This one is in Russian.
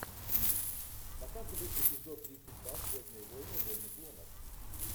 показывай эпизод тридцать два звездные войны войны клонов